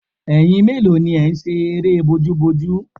Ẹyin mélòó ni ẹ̀ ń ṣe eré bójúbojú?